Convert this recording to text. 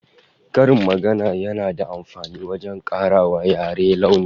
Karin magana yana da amfani wajen kara wa yare launi